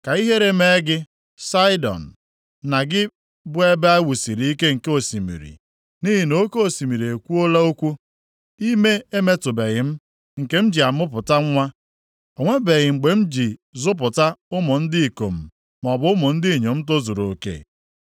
Ka ihere mee gị, Saịdọn, na gị bụ ebe e wusiri ike nke osimiri, nʼihi na oke osimiri ekwuola okwu; “Ime emetụbeghị m, nke m ji amụpụta nwa; o nwebeghị mgbe m ji zụpụta ụmụ ndị ikom maọbụ ụmụ ndị inyom tozuru oke.”